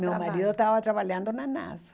Trabalho Meu marido estava trabalhando na NASA.